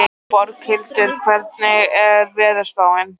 Borghildur, hvernig er veðurspáin?